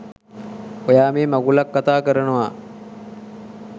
ඔයා මේ මගුලක් කතා කරනවා.